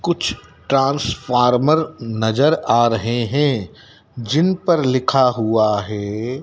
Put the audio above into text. कुछ ट्रांसफार्मर नजर आ रहे हैं जिन पर लिखा हुआ है--